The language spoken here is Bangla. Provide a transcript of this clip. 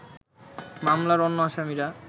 মামলার অন্য আসামিরা